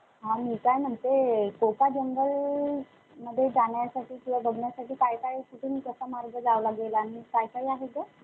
हम्म एक असते PCM.